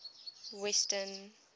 western